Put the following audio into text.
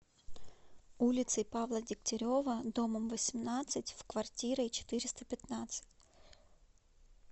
улицей павла дегтярева домом восемнадцать в квартирой четыреста пятнадцать